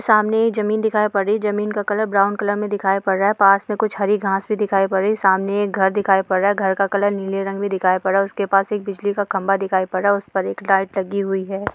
सामने ये जमीन दिखाई पड़ रही है जमीन का कलर ब्राउन कलर में दिखाई पड़ रहा है पास में कुछ हरी घास भी दिखाई पड़ रही है सामने एक घर दिखाई पड़ रहा है घर का कलर नीले रंग में दिखाई पड़ रहा है और उसके पास एक बिजली का खंबा दिखाई पड़ रहा है और उस पर एक लाइट लगी हुई है।